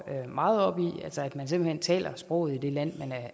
meget op i altså at man simpelt hen skal tale sproget i det land man